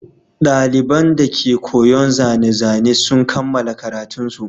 Ɗaliban dake koyon zane-zane sun kammala karatunsu.